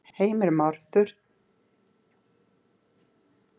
Heimir Már: Þurftirðu að hugsa þig um?